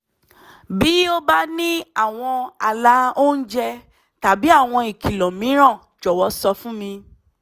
bí o bá ní àwọn ààlà oúnjẹ tàbí àwọn ìkìlọ̀ mìíràn jọ̀wọ́ sọ fún mi